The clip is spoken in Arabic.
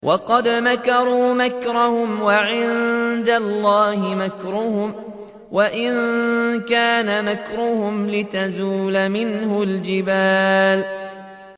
وَقَدْ مَكَرُوا مَكْرَهُمْ وَعِندَ اللَّهِ مَكْرُهُمْ وَإِن كَانَ مَكْرُهُمْ لِتَزُولَ مِنْهُ الْجِبَالُ